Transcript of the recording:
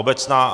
Obecná.